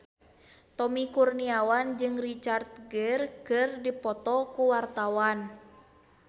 Tommy Kurniawan jeung Richard Gere keur dipoto ku wartawan